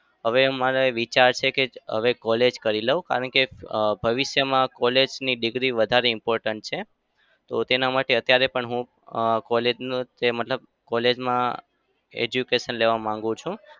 હવે મારે વિચાર છે કે હવે college કરી લઉં. કારણ કે અમ ભવિષ્યમાં college ની degree વધારે important છે. તો તેના માટે અત્યારે પણ હું અમ college નું તે મતલબ college માં education લેવા માંગુ છું.